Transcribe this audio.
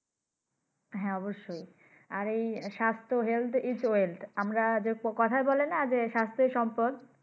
হ্যাঁ অবশ্যই । আর এই স্বাস্থ্য Health is well ।আমরা কথায় বলেনা যে স্বাস্থ্যই সম্পদ।